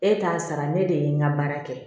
E t'a sara ne de ye n ka baara kɛ